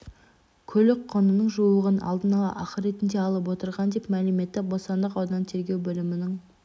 көлік құнының жуығын алдын-ала ақы ретінде алып отырған деп мәлім етті бостандық ауданы тергеу бөлімінің